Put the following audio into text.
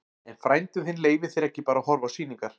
En frændi þinn leyfir þér ekki bara að horfa á sýningar.